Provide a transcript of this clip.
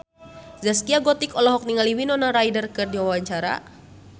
Zaskia Gotik olohok ningali Winona Ryder keur diwawancara